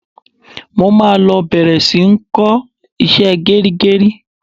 Mo máa lọ bẹ̀rẹ̀ sí ń kọ́ iṣẹ́ gẹrígẹrí.